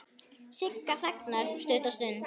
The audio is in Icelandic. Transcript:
Sigga þagnar stutta stund.